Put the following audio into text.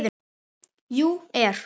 . jú. er.